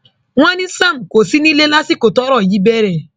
wọn ní sam kò sí nílé lásìkò tọrọ yìí bẹrẹ